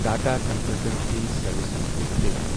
Tata consultancy services limited